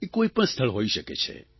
એ કોઇપણ સ્થળો હોઇ શકે છે